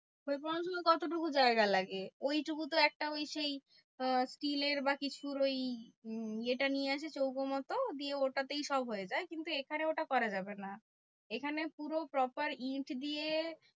খৈ পোড়ানোর জন্য কতটুকু জায়গা লাগে? ঐটুকু তো একটা ওই সেই আহ steel এর বা কিছুর ওই উম ইয়েটা নিয়ে আসে চৌকো মতো দিয়ে ওটাতেই সব হয়ে যায়। কিন্তু এখানে ওটা করা যাবে না। এখানে পুরো proper ইট দিয়ে